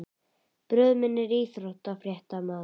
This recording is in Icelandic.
Bróðir minn er íþróttafréttamaður.